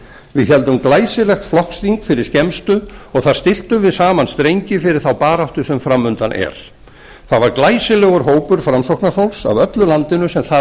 við héldum glæsilegt flokksþing fyrir skemmstu og þar stilltum við saman strengi fyrir þá baráttu sem fram undan er það var glæsilegur hópur framsóknarfólks af öllu landinu sem þar